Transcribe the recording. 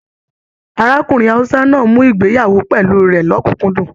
Arákùnrin Hausa náà mú ìgbéyàwó pẹlú rẹ l'ọkunkundun.